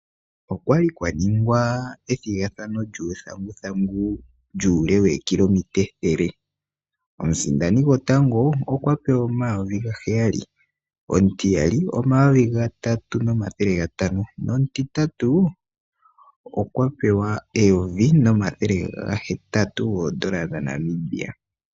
Okwali kwaningwa ethigathano lyuuthanguthangu lyuule wookilometa ethele. Omusindani gotango okwa pewa omayovi gaheya, omutiyali okwa pewa omayovi gatatu nomathele gatano nomutitatu okwa pewa eyovi nomathele gahetatu oondola dhaNamibia.